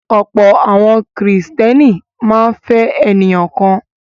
Ọ̀pọ̀ àwọn Kìrìtẹ́ẹ́nì máa ń fẹ́ ènìyàn kan.